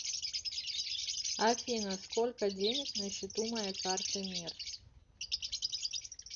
афина сколько денег на счету моей карты мир